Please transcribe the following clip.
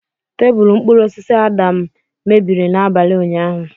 Tebụl mkpụrụ osisi Adam mebiri n'abalị ụnyahụ.